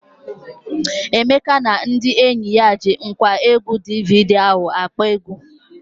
Emeka na ndị enyi ya ji ngwaegwu DVD ahụ akpọ egwu.